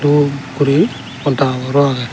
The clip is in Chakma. dup guri podda habor ro agey.